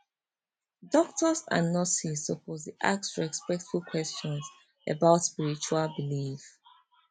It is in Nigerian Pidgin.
doctors and nurses suppose dey ask respectful questions about spiritual belief